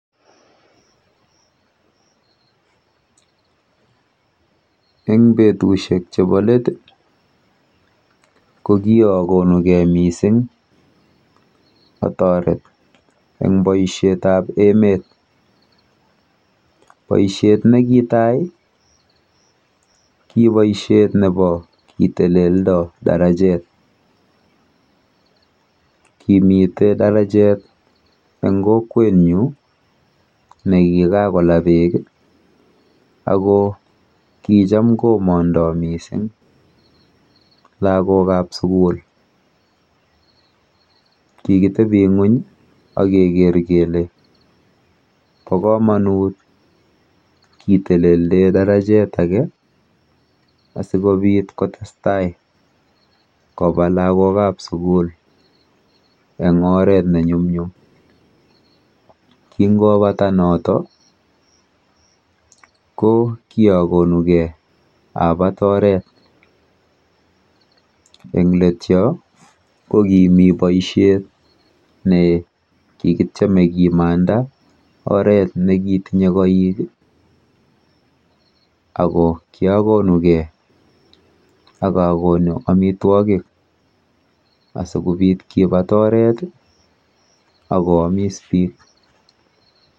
Eng betushek chepo let ko kiakonugei mising atoret eng boishetap emet. Boishet neki tai, ki boishet nepo kiteleldo darajet, kimite darajet eng kokwenyu nekikakola beek ako kicham komondoi mising lagokap sugul. Kikitebi ng'uny akeker kele po komonut ketelelde darajet ake asikobit kotestai kopa lagokap sugul eng oret nenyumnyum. Kingopata noto ko kiakonugei apat oret. Eng let yo ko kimi boishet nekikityeme kemamda oret nekitinye koik ako kyokonugei akakonu amitwokik asikobit kipat oret akoamis biik.